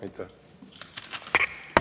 Aitäh!